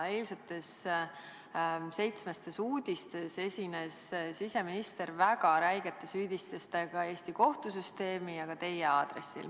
Eilsetes "Seitsmestes uudistes" esines siseminister väga räigete süüdistustega Eesti kohtusüsteemi ja ka teie aadressil.